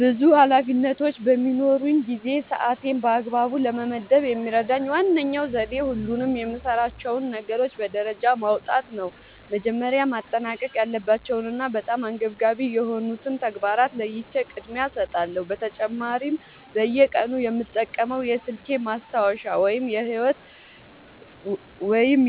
ብዙ ኃላፊነቶች በሚኖሩኝ ጊዜ ሰዓቴን በአግባቡ ለመመደብ የሚረዳኝ ዋነኛው ዘዴ ሁሉንም የምሠራቸውን ነገሮች በደረጃ ማውጣት ነው። መጀመሪያ ማጠናቀቅ ያለባቸውንና በጣም አንገብጋቢ የሆኑትን ተግባራት ለይቼ ቅድሚያ እሰጣቸዋለሁ። በተጨማሪም በየቀኑ የምጠቀመው የስልኬ ማስታወሻ ወይም